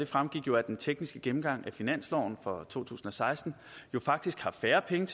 fremgik af den tekniske gennemgang af finansloven for to tusind og seksten faktisk har færre penge